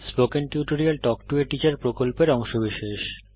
spoken tutorial talk to a teacher প্রকল্পের অংশবিশেষ